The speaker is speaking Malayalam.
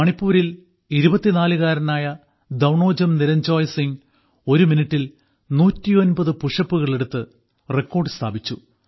മണിപ്പൂരിൽ 24 കാരനായ ധൌണോജം നിരഞ്ജോയ് സിംഗ് ഒരു മിനിട്ടിൽ 109 പുഷപ്പുകൾ എടുത്ത് റെക്കോർഡ് സ്ഥാപിച്ചു